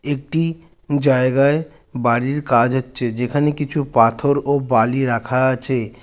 একটি জায়গায় বাড়ির কাজ হচ্ছে যেখানে কিছু পাথর ও বালি রাখা আছে।